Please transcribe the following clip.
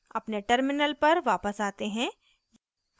अपने terminal पर वापस आते हैं